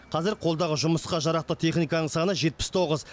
қазір қолдағы жұмысқа жарақты техниканың саны жетпіс тоғыз